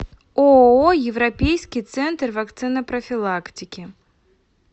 ооо европейский центр вакцинопрофилактики